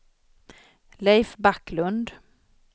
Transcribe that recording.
Leif Backlund